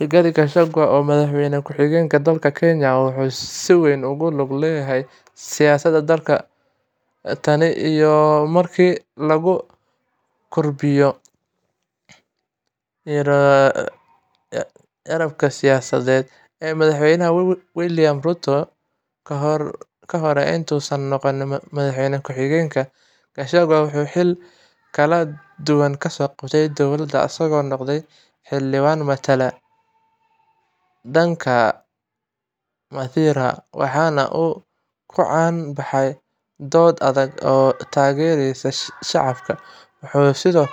Rigathi Gachagua, oo ah Madaxweyne Ku Xigeenka dalka Kenya, wuxuu si weyn ugu lug lahaa siyaasadda dalka tan iyo markii uu ku biiro garabka siyaasadeed ee Madaxweyne William Ruto. Kahor inta uusan noqon Madaxweyne Ku Xigeen, Gachagua wuxuu xilal kala duwan ka soo qabtay dowladda, isagoo noqday xildhibaan matalayay deegaanka Mathira, waxaana uu ku caan baxay doodo adag iyo taageerada shacabka. Wuxuu sidoo